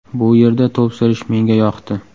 Bu yerda to‘p surish menga yoqdi.